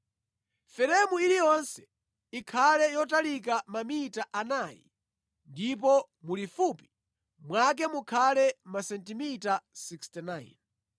Feremu iliyonse ikhale yotalika mamita anayi ndipo mulifupi mwake mukhale masentimita 69.